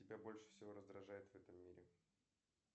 тебя больше всего раздражает в этом мире